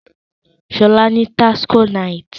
Sola ní tacos night